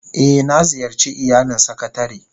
Eh, na ziyarce iyalin sakatare